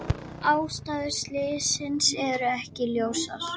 Ástæður slyssins eru ekki ljósar